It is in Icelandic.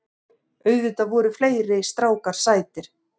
Auðvitað voru fleiri strákar sætir.